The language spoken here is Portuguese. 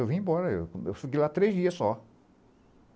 Eu vim embora, eu eu fiquei lá três dias só.